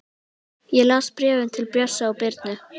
Ég las bréfin til Bjössa og Birnu.